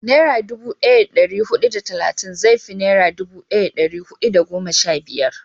nera dubu daya da dari hudu da talatin zai fi nera dubu daya da dari hudu da goma sha biyar